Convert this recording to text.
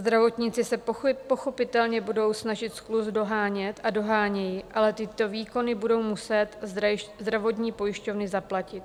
Zdravotníci se pochopitelně budou snažit skluz dohánět a dohánějí, ale tyto výkony budou muset zdravotní pojišťovny zaplatit.